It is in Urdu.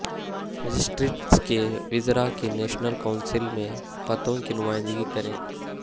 مجسٹریٹس کے وزراء کی نیشنل کونسل میں خطوں کی نمائندگی کریں